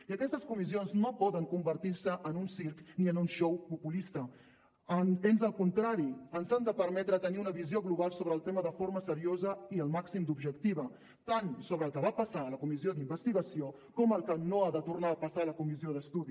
i aquestes comissions no poden convertir se en un circ ni en un xou populista ans al contrari ens han de permetre tenir una visió global sobre el tema de forma seriosa i el màxim d’objectiva tant sobre el que va passar a la comissió d’investigació com el que no ha de tornar a passar a la comissió d’estudi